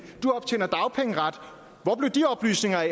og blev de oplysninger af